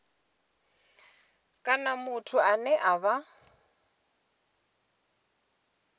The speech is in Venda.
kana muthu ane a vha